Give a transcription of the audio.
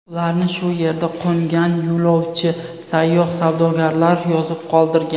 Ularni shu yerda qo‘ngan yo‘lovchi, sayyoh, savdogarlar yozib qoldirgan.